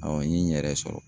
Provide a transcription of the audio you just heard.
n ye n yɛrɛ sɔrɔ.